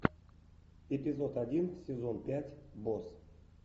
эпизод один сезон пять босс